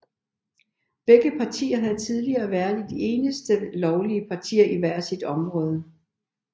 Begge partier havde tidligere været de eneste lovlige partier i hvert sit område